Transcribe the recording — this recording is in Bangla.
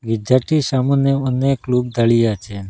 গির্জারটির সামোনে অনেক লোক দাড়িয়ে আছে।